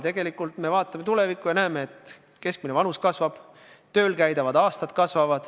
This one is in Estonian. Tegelikult me vaatame tulevikku ja näeme, et keskmine vanus kasvab, tööl käidavate aastate arv kasvab.